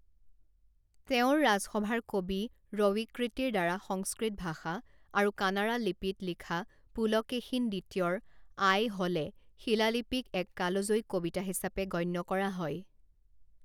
তেওঁৰ ৰাজসভাৰ কবি ৰৱিকৃতিৰ দ্বাৰা সংস্কৃত ভাষা আৰু কানাড়া লিপিত লিখা পুলকেশীন দ্বিতীয়ৰ আইহ'লে শিলালিপিক এক কালজয়ী কবিতা হিচাপে গণ্য কৰা হয়।